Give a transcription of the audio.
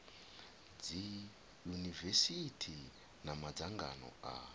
dzi yunivesithi na madzangano a